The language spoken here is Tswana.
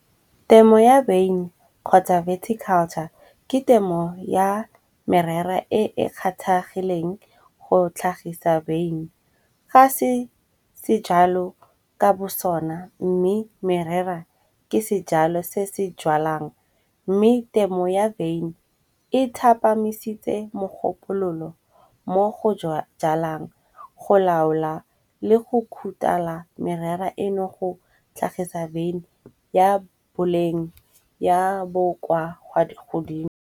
Temo ya wine kgotsa verty culture ke temo ya merera e e kgathagileng go tlhagisa vane. Ga se se jalo ka bo sona mme merera ke sejalo se se jwalang, mme temo ya vane e thapamisitse mogopololo mo go jalang. Go laola le go khutala merera eno go tlhagisa vane ya boleng ya bokwa wa di godimo.